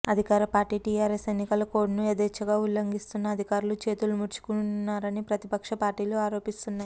అధికారి పార్టీ టీఆర్ఎస్ ఎన్నికల కోడ్ను యథేశ్ఛగా ఉల్లంఘిస్తున్నా అధికారులు చేతులు ముడుచుకు కూర్చున్నారని ప్రతిపక్ష పార్టీలు ఆరోపిస్తున్నాయి